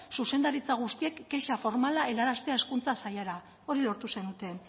zuzendaritza guztiek kexa formala helaraztea hezkuntza sailara hori lortu zenuten